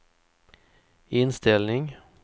inställning